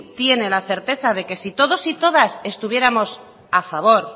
tiene la certeza de que si todos y todas estuviéramos a favor